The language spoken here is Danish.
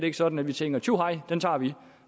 ikke sådan at vi tænker tjuhej den tager vi